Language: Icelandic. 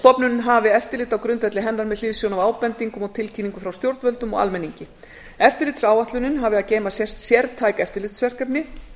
stofnunin hafi eftirlit á grundvelli hennar með hliðsjón af ábendingum og tilkynningum frá stjórnvöldum og almenningi eftirlitsáætlun hafi að geyma sértæk eftirlitsverkefni